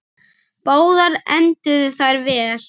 Báðar enduðu þær vel.